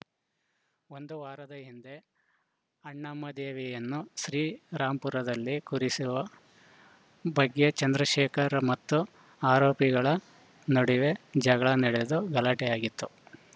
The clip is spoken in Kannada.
ಒಂದು ವಾರದ ಹಿಂದೆ ಅಣ್ಣಮ್ಮ ದೇವಿಯನ್ನು ಶ್ರೀ ರಾಮಪುರದಲ್ಲಿ ಕೂರಿಸು ವ ಬಗ್ಗೆ ಚಂದ್ರಶೇಖರ್‌ ಮತ್ತು ಆರೋಪಿಗಳ ನಡುವೆ ಜಗಳ ನಡೆದು ಗಲಾಟೆಯಾಗಿತ್ತು